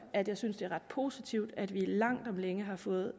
at jeg synes det er ret positivt at vi langt om længe har fået